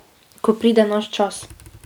Ko pride naš čas.